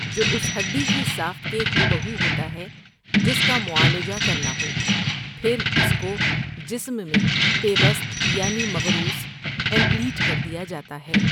جو اس ہڈی کی ساخت کے ہو بہو ہوتا ہے جس کا معالجہ کرناہو، پھر اس کو جسم میں پیوست یعنی مَـغرُوس ایمپیلیٹ کر دیا جاتا ہے ۔